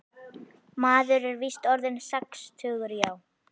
Maður er víst orðinn sextugur, já.